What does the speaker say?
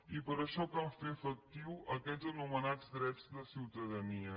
i per això cal fer efectius aquests anomenats drets de ciutadania